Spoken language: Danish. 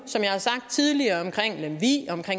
som jeg har sagt tidligere